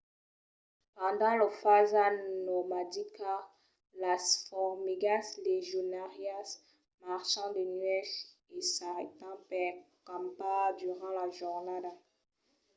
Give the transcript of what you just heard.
pendent lor fasa nomadica las formigas legionàrias marchan de nuèch e s’arrèstan per campar durant la jornada